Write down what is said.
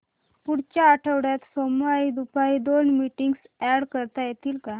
पुढच्या आठवड्यात सोमवारी दुपारी दोन मीटिंग्स अॅड करता येतील का